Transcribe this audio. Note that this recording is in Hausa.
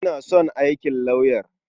Ina son aikin lauyer.